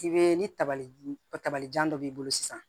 I bɛ ni tabali kabajan dɔ b'i bolo sisan